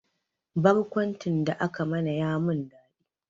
Barkwancin da aka mana ya min dadi